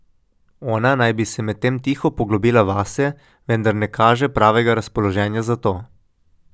Ona naj bi se medtem tiho poglobila vase, vendar ne kaže pravega razpoloženja za to.